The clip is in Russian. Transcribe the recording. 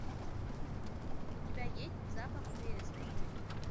у тебя есть запах вереска